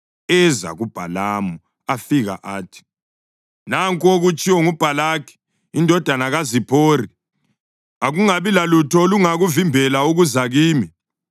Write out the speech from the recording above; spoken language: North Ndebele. Eza kuBhalamu afika athi: “Nanku okutshiwo nguBhalaki indodana kaZiphori: Akungabi lalutho olungakuvimbela ukuza kimi,